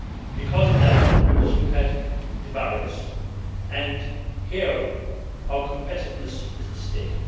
us. Because of that, we must look at the barriers and here our competitiveness is at stake.